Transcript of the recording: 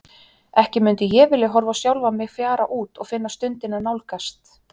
Ekki mundi ég vilja horfa á sjálfa mig fjara út og finna stundina nálgast.